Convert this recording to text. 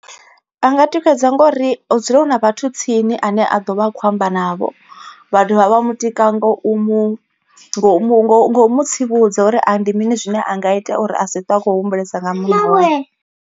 A nga tikedza ngori hu dzula hu na vhathu tsini ane a ḓo vha a kho amba navho. Vha dovha vha mutika ngo u mu ngo mu ngo mu tsivhudza uri a ndi mini zwine a nga ita uri a si twe a khou humbulesa nga munna wawe.